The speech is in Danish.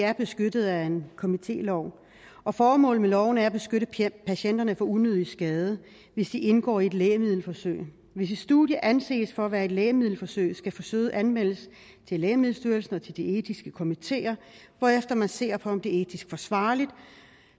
er beskyttet af en komitélov og formålet med loven er at beskytte patienterne for unødig skade hvis de indgår i et lægemiddelforsøg hvis et studie anses for at være et lægemiddelforsøg skal forsøget anmeldes til lægemiddelstyrelsen og til de etiske komiteer hvorefter man ser på om det er etisk forsvarligt